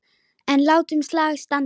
En látum slag standa.